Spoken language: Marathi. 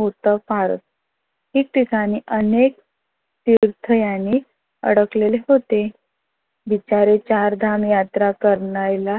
होता फार ठीकठिकानी अनेक तीर्थ याने अडकले होते. बिचारे चार धाम यात्रा करायला